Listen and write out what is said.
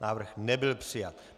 Návrh nebyl přijat.